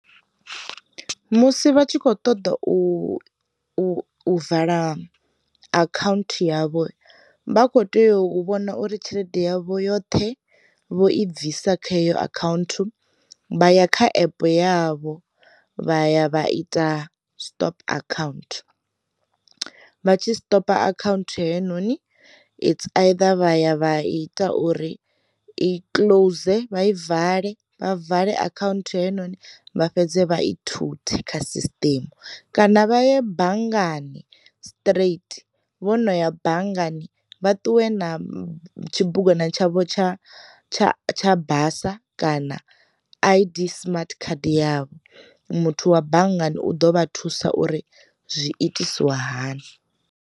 Musi vha tshi kho ṱoḓa u u vala akhaunthu yavho, vha kho tea u vhona uri tshelede yavho yoṱhe vho i bvisa kha iyo akhaunthu, vha ya kha epe yavho vha ya vha ita stop akhaunthu vha tshi stopa akhaunthu heinoni its either vha ya vha ita uri i close vha i vale, vha vale akhaunthu heinoni vha fhedze vha i thuthe kha sisiṱimu, kana vha ye banngani straight vho no ya banngani vha ṱuwe na tshibugwana tsha tsha tsha tsha basa kana a i_d smart card yavho muthu wa banngani u ḓo vha thusa uri zwiitisiwa hani.